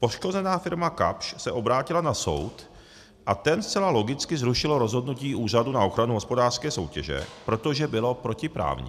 Poškozená firma Kapsch se obrátila na soud a ten zcela logicky zrušil rozhodnutí Úřadu na ochranu hospodářské soutěže, protože bylo protiprávní.